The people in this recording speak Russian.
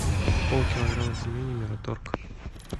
полкилограмма пельменей мираторг